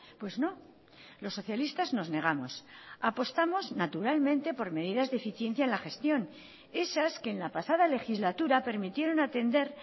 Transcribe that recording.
pues no los socialistas nos negamos apostamos naturalmente por medidas de eficiencia en la gestión esas que en la pasada legislatura permitieron atender